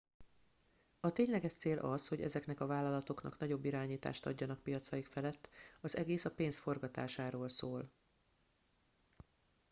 a tényleges cél az hogy ezeknek a vállalatoknak nagyobb irányítást adjanak piacaik felett az egész a pénz forgatásáról szól